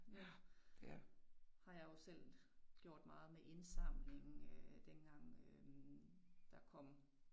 Nu har jeg jo selv gjort meget med indsamling øh dengang øh der kom